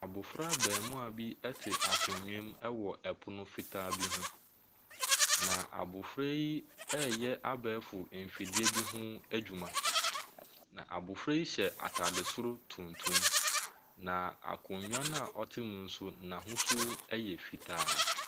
Abɔfra abaamua bi ɛte akonnwa mu ɛwɔ pono fitaa bi ho, na abɔfra yi ɛreyɛ abɛɛfo mfidie bi ho adwuna. Na abɔfra yi hyɛ ataade tuntum, na akonnwa no a ɔte mu no nso n’ahosuo ɛyɛ fitaa.